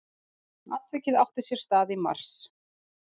Atvikið átti sér stað í mars